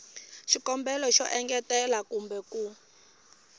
xikombelo xo engetela kumbe ku